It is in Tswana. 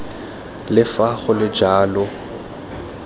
le fa go le jalo